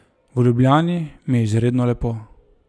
V Ljubljani mi je izredno lepo.